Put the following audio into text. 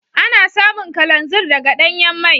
Ana samun kalanzir daga danyan mai.